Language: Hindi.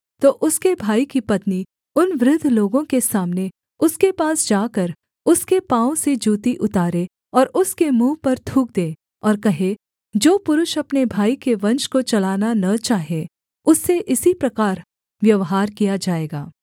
तो उसके भाई की पत्नी उन वृद्ध लोगों के सामने उसके पास जाकर उसके पाँव से जूती उतारे और उसके मुँह पर थूक दे और कहे जो पुरुष अपने भाई के वंश को चलाना न चाहे उससे इसी प्रकार व्यवहार किया जाएगा